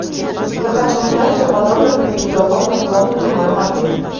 я хочу узнать все подробно про переговорную комнату в моем отеле